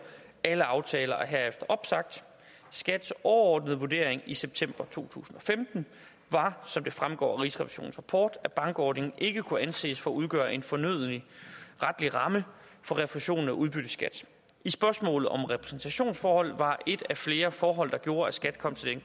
alle aftaler er herefter opsagt skats overordnede vurdering i september to tusind og femten var som det fremgår af rigsrevisionens rapport at bankordningen ikke kunne anses for at udgøre en fornøden retlig ramme for refusionen af udbytteskat spørgsmålet om repræsentationsforholdet var et af flere forhold der gjorde at skat kom til